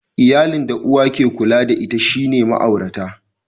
Iyalin da uwa ke kula da ita shine ma'aurata.